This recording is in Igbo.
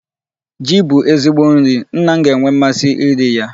Ji bụ ezigbo nri. Nna m ga-enwe mmasi iri ya.